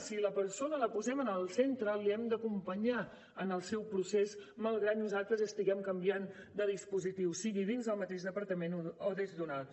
si la persona la posem en el centre l’hem d’acompanyar en el seu procés malgrat que nosaltres estiguem canviant de dispositiu sigui dins del mateix departament o des d’un altre